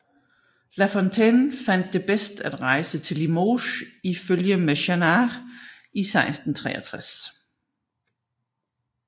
La Fontaine fandt det bedst at rejse til Limoges i følge med Jannart i 1663